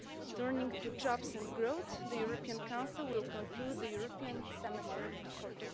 Turning to jobs and growth, the European Council will conclude the European Semester for